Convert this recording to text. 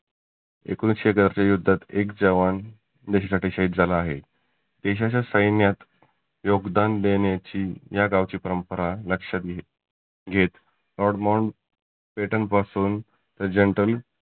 एकोनिसशे युद्धात एक जवान देशासाठी शहीद झाला आहे. देशाच्या सैन्यात योगदान देण्याची त्या गावची परंपरा लक्षात घेत odd monk britain पासुन ते general